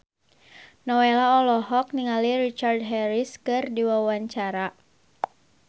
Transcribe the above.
Nowela olohok ningali Richard Harris keur diwawancara